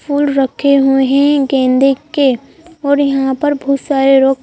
फूल रखे हुए हैं गेंदे के और यहाँ पर बहुत सारे लोग--